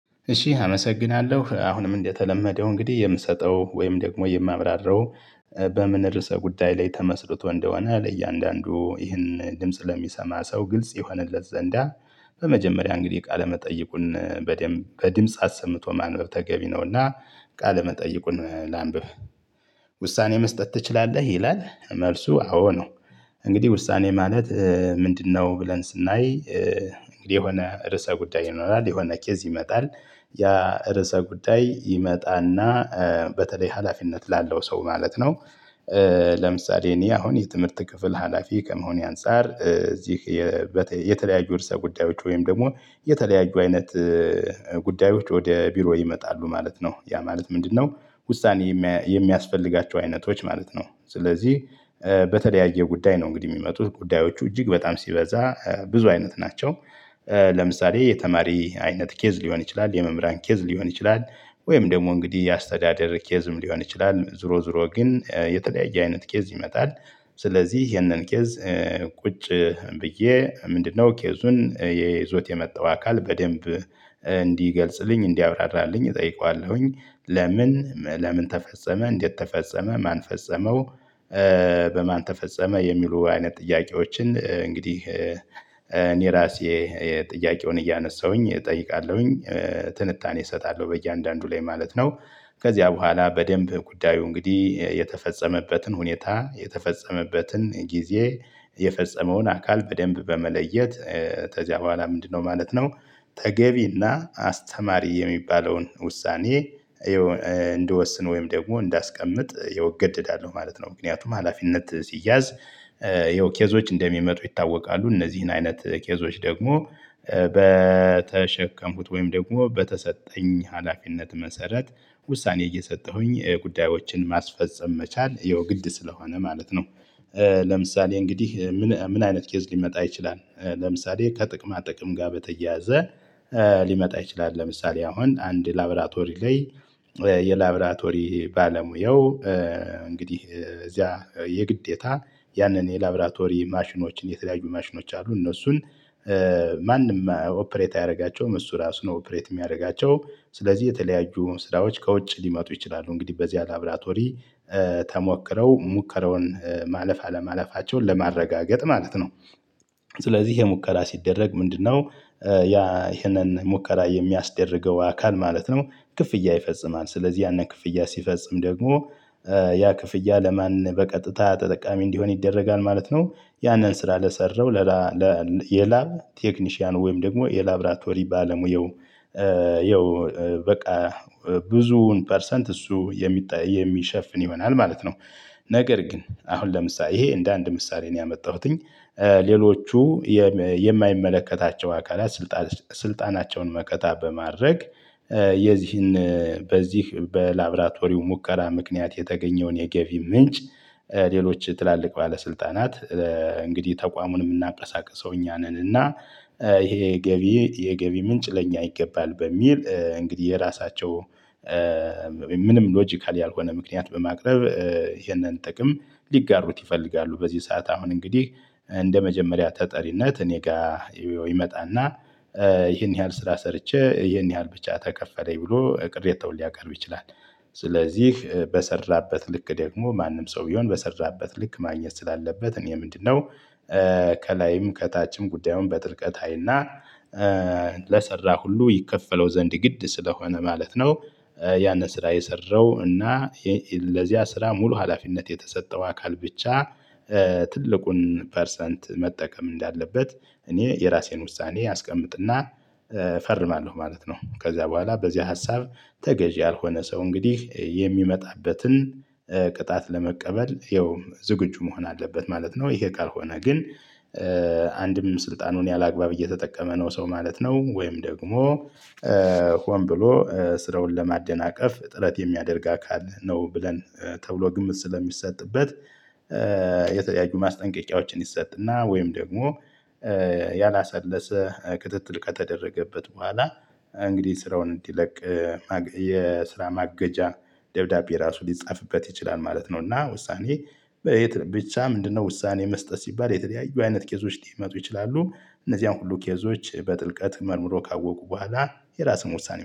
እሺ አመሰግናለሁ አሁንም እንደተለመደው እንግዲህ የምሰጠው ወይም ደግሞ የማብራራው በምን ርዕሰ ጉዳይ ላይ ተመስርቶ እንደሆነ ለእያንዳንዱ ይህን ድምጽ ለሚሰማ ሰው ግልጽ ይሆንለት ዘንድ። በመጀመሪያ እንግዲህ ቃለ መጠይቁን በድምጽ አሰምቶ ማንበብ ተገቢ ነውና። ቃለመጠይቁን ላንብብ ውሳኔ መስጠት ትችላለህ? ይላል መልሱ አዎ ነው። እንግዲህ ውሳኔ ማለት ምንድን ነው ብለን ስናይ? የሆነ ርዕሰ ጉዳይ ይኖራል የሆነ ኬዝ ይመጣል። ያ ርዕሰ ጉዳይ ይመጣና በተለይ ሀላፊነት ላለው ሰው ማለት ነው። ለምሳሌ እኔ አሁን የትምህርት ክፍል ሀላፊ ከመሆኔ አንፃር እዚህ። የተለያዩ ርዕሰ ጉዳዮች ወይም ደግሞ የተለያዩ አይነት ጉዳዮች ወደ ቢሮ ይመጣሉ ማለት ነው። ያ ማለት ምንድን ነው? ውሳኔ የሚያስፈልጋቸው አይነቶች ማለት ነው ስለዚህ። በተለያየ ጉዳይ ነው እንግዲህ የሚመጡት ጉዳዮቹ እጅግ በጣም ሲበዛ ብዙ አይነት ናቸው። ለምሳሌ የተማሪ አይነት ኬዝ ሊሆን ይችላል የመምህራን ኬዝ ሊሆን ይችላል ወይም ደግሞ እንግዲህ የአስተዳደር ኬዝም ሊሆን ይችላል ዞሮ ዞሮ ግን የተለያየ አይነት ኬዝ ይመጣል። ስለዚህ ይሄንን ኬዝ ቁጭ ብዬ ምንድን ነው ኬዙን ይዞት የመጣው አካል በደንብ እንዲገልጽልኝ እንዲያብራራልኝ እጠይቀዋለሁ። ለምን ለምን ተፈጸመ እንዴት ተፈጸመ ማን ፈጸመው? በማን ተፈጸመ የሚሉ አይነት ጥያቄዎችን እንግዲህ እኔ እራሴ ጥያቄውን እያነሳሁ እጠይቃለሁ። ትንታኔ እሰጣለሁ በእያንዳንዱ ላይ ማለት ነው። ከዚያ በኋላ በደንብ ጉዳዩ እንግዲህ የተፈጸመበትን ሁኔታ የተፈጸመበትን ጊዜ የፈጸመውን አካል በደንምብ በመለየት ከዚያ በኋላ ምንድን ነው ማለት ነው። ተገቢና አስተማሪ የሚባለውን ውሳኔ። እንድወስን ወይም ደግሞ እንዳስቀምጥ ያው እገደዳለሁ ማለት ነው። ምክንያቱም ሀላፊነት ሲያዝ። ይኸው ኬዞች እንደሚመጡ ይታወቃሉ እነዚህን አይነት ኬዞች ደግሞ። በተሸከምኩት ወይም ደግሞ በተሰጠኝ ሀላፊነት መሰረት ውሳኔ እየሰጠሁ ጉዳዮችን ማስፈጸም መቻል ያው ግድ ስለሆነ ማለት ነው። ለምሳሌ እንግዲህ ምን አይነት ኬዝ ሊመጣ ይችላል ለምሳሌ ከጥቅማ ጥቅም ጋር በተያያዘ። ሊመጣ ይችላል ለምሳሌ አሁን አንድ ላብራቶሪ ላይ የላብራቶሪ ባለሙያው እንግዲህ እዚያ የግዴታ ያንን የላብራቶሪ ማሽኖችን የተለያዩ ማሽኖች አሉ እነሱን ማንም ኦፕሬት አያደርጋቸውም እሱ ራሱ ነው ኦፕሬት የሚያደርጋቸው ስለዚህ የተለያዩ ስራዎች ከውጭ ሊመጡ ይችላሉ እንግዲህ በዚያ ላብራቶሪ ተሞክረው ሙከራውን ማለፍ አለማለፋቸውን ለማረጋገጥ ማለት ነው። ስለዚህ ይሄ ሙከራ ሲደረግ ምንድን ነው? ያ ይሄንን ሙከራ የሚያስደርገው አካል ማለት ነው። ክፍያ ይፈጽማል ስለዚህ ያንን ክፍያ ሲፈጽም ደግሞ ያ ክፍያ ለማን በቀጥታ ተጠቃሚ እንዲሆን ይደረጋል ማለት ነው። ያንን ስራ ለሰራው የላብ ቴክኒሻን ወይም ደግሞ የላብራቶሪ ባለሙያው። ይኸው በቃ ብዙውን ፐርሰንት እሱ የሚሸፍን ይሆናል ማለት ነው። ነገር ግን አሁን ለምሳሌ ይሄ እንደ አንድ ምሳሌ ነው ያመጣሁት። ሌሎቹ የማይመለከታቸው አካላት ስልጣናቸውን መከታ በማድረግ የዚህን በዚህ በላብራቶሪው ሙከራ ምክንያት የተገኘውን የገቢ ምንጭ። ሌሎች ትላልቅ ባለስልጣናት እንግዲህ ተቋሙን ምናቀሳቅሰው እኛ ነን እና። ይሄ ገቢ የገቢ ምንጭ ለእኛ ይገባል በሚል እንግዲህ የራሳቸው ምንም ሎጂካል ያልሆነ ምክንያት በማቅረብ። ይሄንን ጥቅም ሊጋሩት ይፈልጋሉ በዚህ ሰዓት አሁን እንግዲህ እንደመጀመሪያ ተጠሪነት እኔ ጋር ይመጣና ይሄን ያህል ስራ ሰርቼ ይህን ያህል ብቻ ተከፈለኝ ብሎ ቅሬታውን ሊያቀርብ ይችላል። ስለዚህ በሰራበት ልክ ደግሞ ማንም ሰው ቢሆን በሰራበት ልክ ማግኘት ስላለበት እኔ ምንድን ነው? ከላይም ከታችም ጉዳዩን በጥልቀት አይና። ለሰራ ሁሉ ይከፈለው ዘንድ ግድ ስለሆነ ማለት ነው። ያንን ስራ የሰራው እና ለዚያ ስራ ሙሉ ሀላፊነት የተሰጠው አካል ብቻ ትልቁን ፐርሰንት መጠቀም እንዳለበት እኔ የራሴን ውሳኔ አስቀምጥና እፈርማለሁ ማለት ነው። ከዚያ በኋላ በዚህ ሀሳብ ተገዢ ያልሆነ ሰው እንግዲህ የሚመጣበትን ቅጣት ለመቀበል ይኸውም ዝግጁ መሆን አለበት ማለት ነው። ይሄ ካልሆነ ግን። አንድም ስልጣኑን ያለአግባብ እየተጠቀመ ነው ሰው ማለት ነው። ወይም ደግሞ ሆን ብሎ ስራውን ለማደናቀፍ ጥረት የሚያደርግ አካል ነው ብለን ተብሎ ግምት ስለሚሰጥበት። የተለያዩ ማስጠንቀቂያዎችን ይሰጥና ወይም ደግሞ ያላሰለሰ ክትትል ከተደረገበት በኋላ። እንግዲህ ስራውን እንዲለቅ። የስራ ማገጃ ደብዳቤ ራሱ ሊጻፍበት ይችላል ማለት ነው። እና ውሳኔ በየት ብቻ ምንድነው ውሳኔ መስጠት ሲባል የተለያዩ አይነት ኬዞች ሊመጡ ይችላሉ። እነዚህን ሁሉ ኬዞች በጥልቀት መርምሮ ካወቁ በኋላ የራስን ውሳኔ